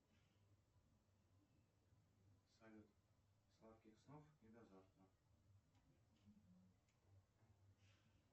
салют сладких снов и до завтра